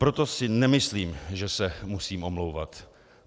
Proto si nemyslím, že se musím omlouvat.